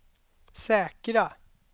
säkra